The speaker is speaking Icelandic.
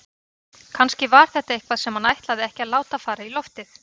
Kannski var þetta eitthvað sem hann ætlaði ekki að láta fara í loftið.